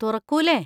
തുറക്കൂലെ?